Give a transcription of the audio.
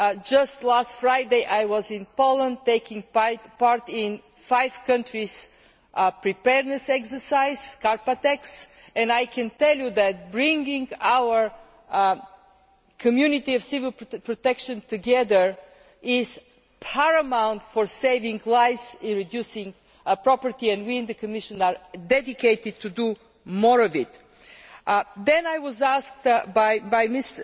Just last Friday I was in Poland taking part in a five country preparedness exercise, Carpatex, and I can tell you that bringing our community of civil protection together is paramount in saving lives, and reducing property, and we in the Commission are dedicated to do more of it. I was asked